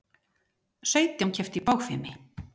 Sautján kepptu í bogfimi